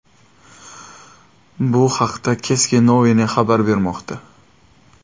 Bu haqda Ceske Noviny xabar bermoqda .